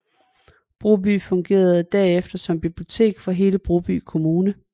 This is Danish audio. Broby fungerede derefter som bibliotek for hele Broby Kommune